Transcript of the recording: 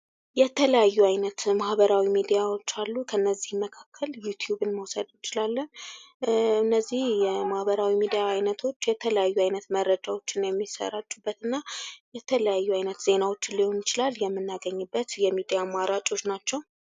የተለያዩ አይነት ማህበራዊ ሚዲያዎች አሉ ከእነዚህ ይመካከል ዩቲዩብን መውሰድ እንችላለን። እነዚህ የማህበራዊ ሚዲያ ዐይነቶች የተለያዩ መረጃዎች የሚሰራጩበት እና የተለያዩ አይነት ዜናዎችን ሊሆን ይችላል የምናገኝበት የሚዲያ አማራጮች ናቸው።